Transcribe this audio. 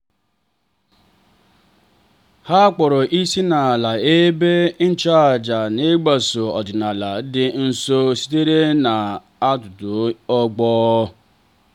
ha kpọọrọ isiala n’ihu ebe ịchụàjà n'ịgbaso ọdịnala dị nsọ sitere n' ọtụtụ ọgbọ.